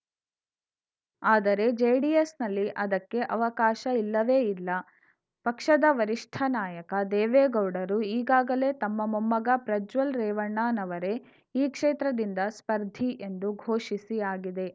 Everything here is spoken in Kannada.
ಆದರೆ ಜೆಡಿಎಸ್‌ನಲ್ಲಿ ಅದಕ್ಕೆ ಅವಕಾಶ ಇಲ್ಲವೇ ಇಲ್ಲ ಪಕ್ಷದ ವರಿಷ್ಠ ನಾಯಕ ದೇವೇಗೌಡರು ಈಗಾಗಲೇ ತಮ್ಮ ಮೊಮ್ಮಗ ಪ್ರಜ್ವಲ್‌ ರೇವಣ್ಣನವರೇ ಈ ಕ್ಷೇತ್ರದಿಂದ ಸ್ಪರ್ಧಿ ಎಂದು ಘೋಷಿಸಿ ಆಗಿದೆ